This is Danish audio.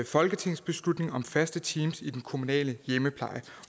folketingsbeslutning om faste teams i den kommunale hjemmepleje